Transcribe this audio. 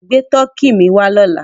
Gbé Tọkì mi wà lọ́là!